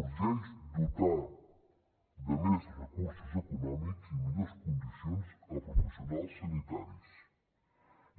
urgeix dotar de més recursos econòmics i millors condicions els professionals sanitaris